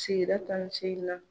Sigida tan ni seginnan.